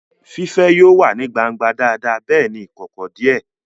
Fífẹ́ yóò wà ní gbangba dáadáa bẹ́ẹ̀ ní ìkọ̀kọ̀ díẹ̀